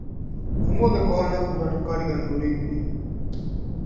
Ũmũthĩ kũhana kura ndũkariganĩrwo nĩ iburi